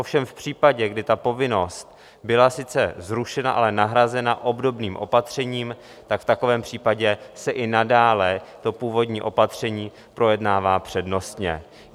Ovšem v případě, kdy ta povinnost byla sice zrušena, ale nahrazena obdobným opatřením, tak v takovém případě se i nadále to původní opatření projednává přednostně.